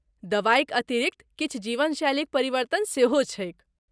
दबाइक अतिरिक्त, किछु जीवनशैलीक परिवर्तन सेहो छैक।